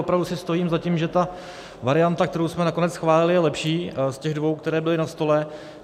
Opravdu si stojím za tím, že ta varianta, kterou jsme nakonec schválili, je lepší z těch dvou, které byly na stole.